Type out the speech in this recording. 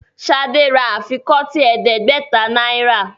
Shade rà afikọti ẹdẹgbẹta náírà